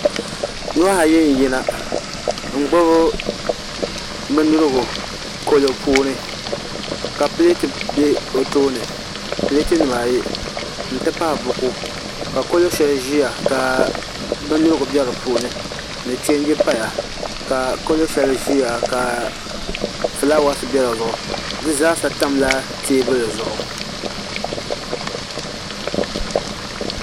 Nuhi ayo n yina n gbubi bindirigu kalo puuni ka pileeti bɛ o toini pileet nimaayi n ti pahi buku ka kolba shɛli ʒiya ka bindirigu bɛ di puuni ni chɛnji paya ka kalo shɛli ʒiya ka fulaawaasi bɛ di zuɣu di zaasa tamla teebuli zuɣu